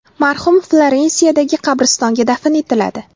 Marhum Florensiyadagi qabristonga dafn etiladi.